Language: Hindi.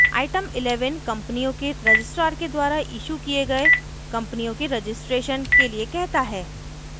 item 11 कम्पनियों के registrar के द्वारा इशू किये गए कम्पनियों के registration के लिए कहता है